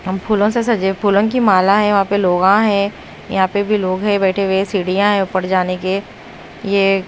अम फूलों से सजे फूलों की माला है वहां पे लोगां हैं यहां पे भी लोग हैं बैठे हुए सीढ़ियां हैं ऊपर जाने के ये --